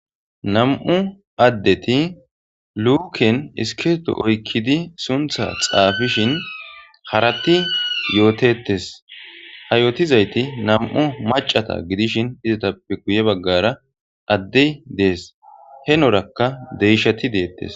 2 adet luken iskirto oykid suntha xafishn harat yotetes. Ha yootizayt 2 macata gidishn istappe guye bagara adey Des henoraka deysha des